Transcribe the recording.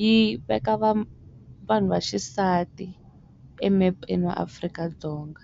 yi veka va vanhu va xisati emepeni wa Afrika-Dzonga.